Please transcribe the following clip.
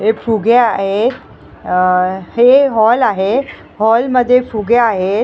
हे फुगे आहेत अ हे हॉल आहे हॉल मध्ये फुगे आहेत.